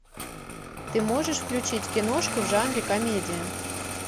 ты можешь включить киношку в жанре комедия